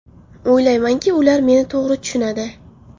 O‘ylaymanki, ular meni to‘g‘ri tushunadi.